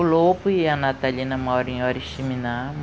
O Lopo e a Natalina moram em Oriximiná.